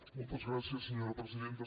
moltes gràcies senyora presidenta